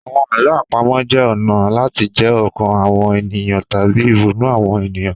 Àwọn àlọ́ àpamọ̀ jẹ́ ọ̀nà láti jí ọkàn àwọn ènìyàn tàbí ìrònú àwọn ènìyàn.